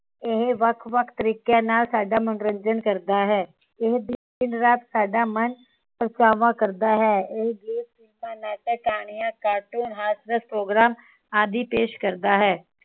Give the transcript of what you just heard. ਇਹ ਵੱਖ ਵੱਖ ਤਰੀਕਿਆਂ ਨਾਲ ਸਾਡਾ ਮਨੋਰੰਜਨ ਕਰਦਾ ਹੈ ਇਹ ਦਿਨ ਰਾਤ ਸਾਡਾ ਮਨ ਉਚਾਵਾਂ ਕਰਦਾ ਹੈ ਇਹ ਫ਼ਿਲਮਾਂ ਨਾਟਕ ਗਾਣਿਆਂ cartoon ਹਾਸਦਸ program ਆਦਿ ਪੇਸ਼ ਕਰਦਾ ਹੈ